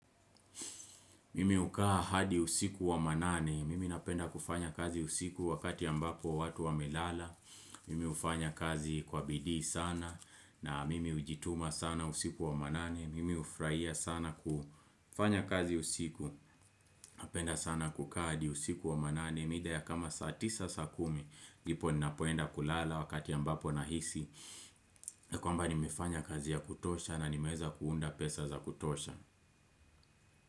Mimi hukaa hadi usiku wa manane, mimi napenda kufanya kazi usiku wakati ambapo watu wamelala, mimi hufanya kazi kwa bidii sana, na mimi hujituma sana usiku wa manane, mimi hufurahia sana kufanya kazi usiku, napenda sana kukaa hadi usiku wa manane, mida ya kama saa tisa saa kumi, ndipo ninapoenda kulala wakati ambapo nahisi, kwamba nimefanya kazi ya kutosha na nimeweza kuunda pesa za kutosha.